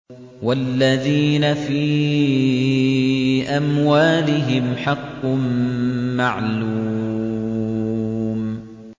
وَالَّذِينَ فِي أَمْوَالِهِمْ حَقٌّ مَّعْلُومٌ